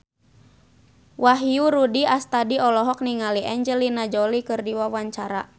Wahyu Rudi Astadi olohok ningali Angelina Jolie keur diwawancara